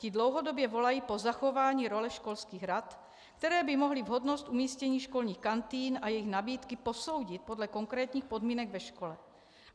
Ti dlouhodobě volají po zachování role školských rad, které by mohly vhodnost umístění školních kantýn a jejich nabídky posoudit podle konkrétních podmínek ve škole.